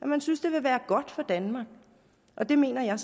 man synes det vil være godt for danmark og det mener jeg